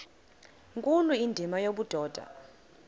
nkulu indima yobudoda